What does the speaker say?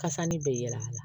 Kasani bɛ yɛlɛ a la